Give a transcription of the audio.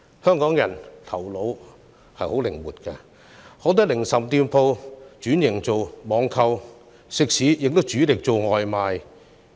香港人的頭腦十分靈活，許多零售店鋪轉型為網購店，食肆亦主力做外賣生意。